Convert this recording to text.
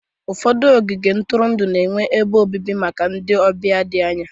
Ụfọdụ ogige ntụrụndụ na-enye ebe obibi maka ndị ọbịa dị anya